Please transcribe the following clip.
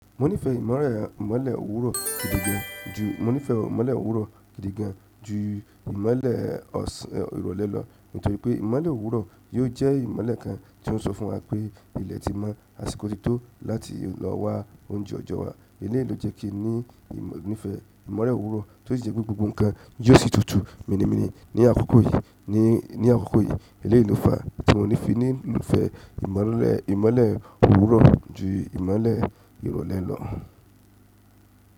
Òwúrọ̀ gidi gan-an jù, mo ní fẹ́ ìmọ́lẹ̀ òwúrọ̀ gidi gan-an jù ìmolẹ ọ̀sán ìrọ̀lẹ́ lọ nítorí pé ìmọ́lẹ̀ òwúrọ̀ ni ò jẹ́ ìmọ̀lẹ̀ kan tí ó ń sọ fún wa pé ilẹ̀ tí mọ́ àsìkò ti tó láti lọ wá oúnjẹ ọjọ́ wa. Eléyi ó jẹ́ kí n nífẹ́ ìmọ́lẹ̀ òwúrọ̀, tó sì jẹ́ pé gbogbo ǹkan yóò sì tútù mini mini ní àkókò yìí. Elèyí ló fa tí mo fi nífẹ̀ẹ́ ìmọ̀lẹ̀ òwúrọ̀ jù ìmọ̀lẹ̀ ìrọ̀lẹ́ lọ.